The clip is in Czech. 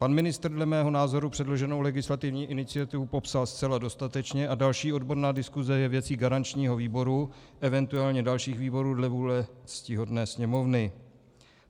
Pan ministr dle mého názoru předloženou legislativní iniciativu popsal zcela dostatečně a další odborná diskuse je věcí garančního výboru, eventuálně dalších výborů dle vůle ctihodné Sněmovny.